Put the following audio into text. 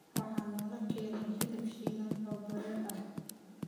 waxaa naloo keenay hilib shiilan oo baraar ah